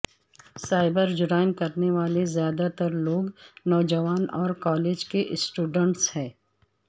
cyber جرائم کرنے والے زیادہ تر لوگ نوجوان اور کالج کے اسٹوڈنٹس ہیں